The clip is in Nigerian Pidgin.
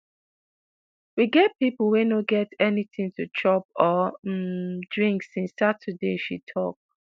"we get pipo wey no get anytin to chop or um drink" since saturday she tok.